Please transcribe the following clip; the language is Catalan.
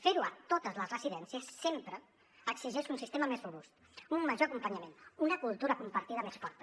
fer ho a totes les residències sempre exigeix un sistema més robust un major acompanyament una cultura compartida més forta